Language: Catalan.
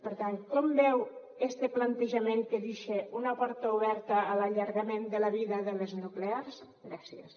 per tant com veu este plantejament que dixa una porta oberta a l’allargament de la vida de les nuclears gràcies